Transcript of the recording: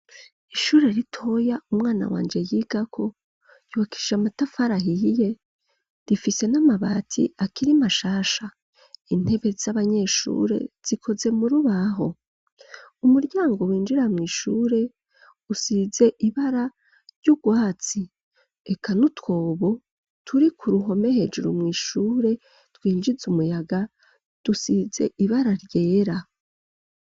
Ishure ritoya, umwana wanje yigako, yubakishije amatafari ahiye, rifise n'amabati, akiri mashasha; intebe z'abanyeshure, zikoze mu rubaho; umuryango winjira mw'ishure, usize ibara ry'ubwatsi; eka n'utwobo, turi ku ruhome, hejuru mw'ishure, twinjiza umuyaga, dusize ibara ryera.